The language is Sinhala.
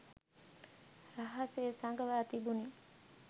රහසේ සඟවා තිබුණි